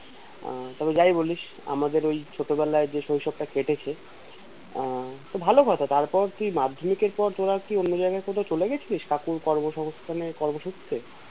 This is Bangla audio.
আহ তবে যাই বলিস আমাদের ওই ছোটবেলায় যে শৈশবটা কেটেছে আহ ভালো কথা তারপর কি মাধ্যমিকের পর তোরা কি অন্য জায়গায় কোথাও চলে গিয়েছিলিস কোনো কর্ম সংস্থানে কর্ম সূত্রে?